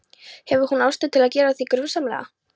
Hefur hún ástæðu til að gera þig grunsamlega?